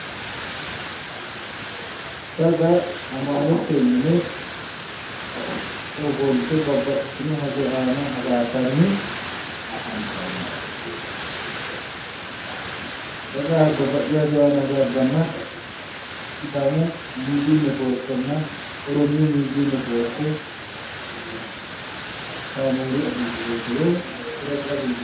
daga amaalete mine ofolte babbaxitino hajo aana hasaabbanni afantanno daga babbaxitino haja aana hasaabbanna sidaamu midii netiworkenna oromiyu midii netiworke kaameeru agelgiloote woyi qiretsu qiretsu agelgiloote.